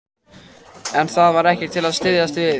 En það var ekkert til að styðjast við.